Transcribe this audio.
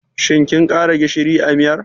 Shin kin ƙara gishiri a miyar?